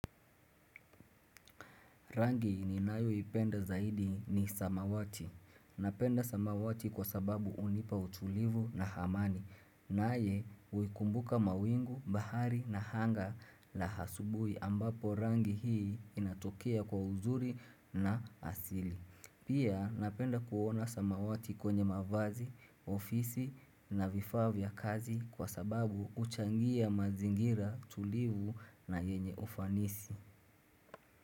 Rangi ninayo ipenda zaidi ni samawati. Napenda samawati kwa sababu unipa utulivu na hamani. Naye huikumbuka mawingu, bahari na anga la asubuhi ambapo rangi hii inatokea kwa uzuri na asili. Pia napenda kuona samawati kwenye mavazi, ofisi na vifaa vya kazi kwa sababu huchangia mazingira tulivu na yenye ufanisi.